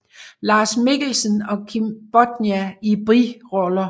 Lars Mikkelsen og Kim Bodnia i biroller